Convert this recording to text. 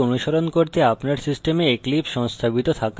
এই tutorial অনুসরণ করতে আপনার সিস্টেমে